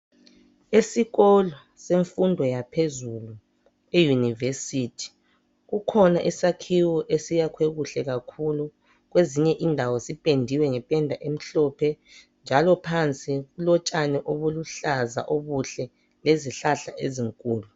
Esikolo semfundo yaphezulu e yunivesithi, kukhona isakhiwo esiyakhwe kuhle kakhulu, ezinye indawo zipendiwe ngependa emhlophe , njalo phansi kulotshani obuluhlaza obuhle ,lezihlahla ezinkululu.